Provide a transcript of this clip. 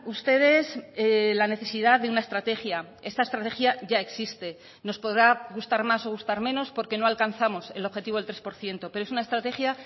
ustedes la necesidad de una estrategia esta estrategia ya existe nos podrá gustar más o gustar menos porque no alcanzamos el objetivo del tres por ciento pero es una estrategia